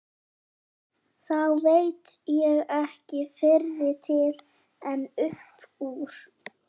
Þá veit ég ekki fyrri til en upp úr